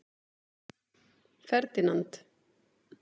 Ferdinand